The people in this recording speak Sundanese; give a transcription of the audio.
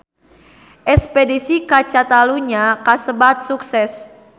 Espedisi ka Catalunya kasebat sukses